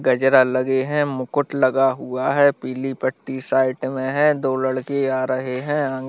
गजरा लगे है मुकुट लगा हुआ है पीली पट्टी साइड में है दो लड़के आ रहे है अं --